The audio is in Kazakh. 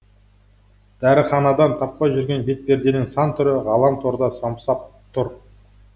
дәріханадан таппай жүрген бетперденің сан түрі ғаламторда самсап тұр